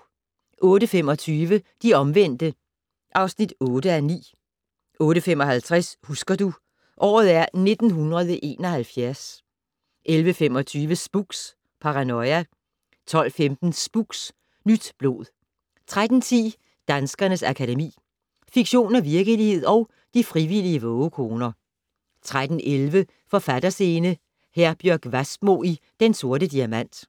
08:25: De omvendte (8:9) 08:55: Husker du - året er 1971 11:25: Spooks: Paranoia 12:15: Spooks: Nyt blod 13:10: Danskernes Akademi: Fiktion og virkelighed & De frivillige vågekoner 13:11: Forfatterscene: Herbjørg Wassmo i Den Sorte Diamant